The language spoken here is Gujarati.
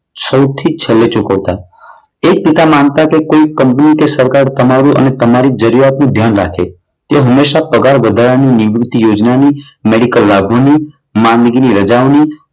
સૌથી છેલ્લે ચૂકવતા. એક પિતા માનતા કે કોઈ કંપની કે સરકાર મારી અને તમારી જરૂરિયાતનું ધ્યાન રાખે. તેઓ હંમેશા પગાર વધારો અને નિવૃત યોજના ની, મેડિકલ લાભોની, માંદગીની રજાઓની,